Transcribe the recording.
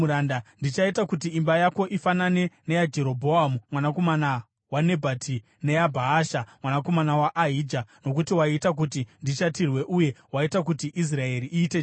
Ndichaita kuti imba yako ifanane neyaJerobhoamu mwanakomana waNebhati neyaBhaasha mwanakomana waAhija, nokuti waita kuti ndishatirwe uye waita kuti Israeri iite chivi.’